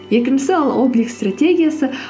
екіншісі ол облик стратегиясы